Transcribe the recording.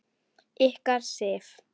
Ykkar, Sif.